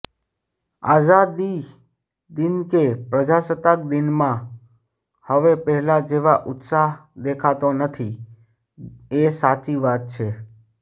આઝાદી દિન કે પ્રજાસત્તાક દિનમાં હવે પહેલા જેવા ઉત્સાહ દેખાતો નથી એ સાચી વાત છે